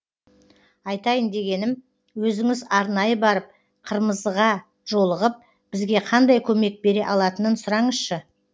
айтайын дегенім өзіңіз арнайы барып қырмызыға жолығып бізге қандай көмек бере алатынын сұраңызшы